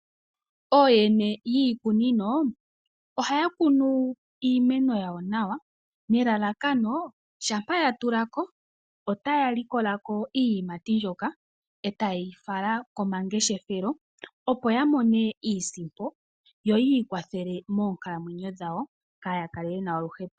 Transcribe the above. Ooyene yiikunino ohaya kunu iimeno yawo nawa nelalakano shampa yatulako otaya likolako iiyimati mbyoka etayeyi fala komangeshefelelo yo yamone iisimpo yo yi ikwathele monkalamwenyo dhawo kaayakale yena oluhepo.